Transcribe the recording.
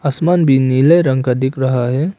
आसमान भी नीले रंग का दिख रहा है।